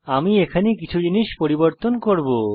আমি এখানে কিছু জিনিস পরিবর্তন করব